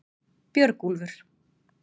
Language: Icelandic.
Björgúlfur